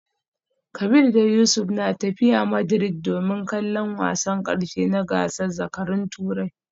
Kabir da Yusuf na tafiya Madrid domin kallon wasan karshe na gasar zakarun Turai